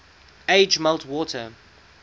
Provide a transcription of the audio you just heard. age melt water